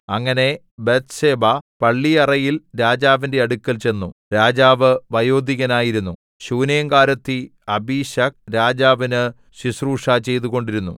അങ്ങനെ ബത്ത്ശേബ പള്ളിയറയിൽ രാജാവിന്റെ അടുക്കൽ ചെന്നു രാജാവ് വയോധികനായിരുന്നു ശൂനേംകാരത്തി അബീശഗ് രാജാവിന് ശുശ്രൂഷ ചെയ്തുകൊണ്ടിരുന്നു